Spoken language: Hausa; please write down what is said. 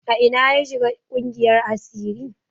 A ina ya shiga ƙungiyar asiri?